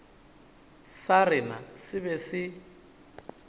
sa rena se be se